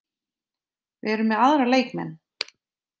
Við erum með aðra leikmenn